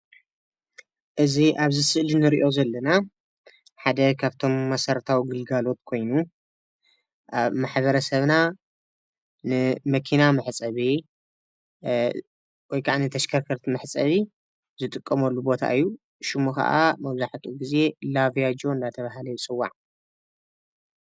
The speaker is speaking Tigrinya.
እዚ ኣብዚ ስእሊ እንሪኦ ዘለና ሓደ ካብቶም መሰረታዊ ግልጋሎት ኮይኑ ማሕበረሰብና ንመኪና መሕፀቢ ወይ ከዓ ተሽከርከርቲ መሕፀቢ ዝጥቀመሉ ቦታ እዩ፡፡ ሽሙ ከዓ መብዛሕትኡ ግዜ ላቢያጆ እናተባህለ ይፅዋዕ፡፡